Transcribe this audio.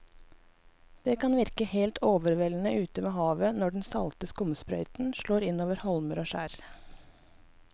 Det kan virke helt overveldende ute ved havet når den salte skumsprøyten slår innover holmer og skjær.